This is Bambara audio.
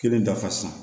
Kelen dafa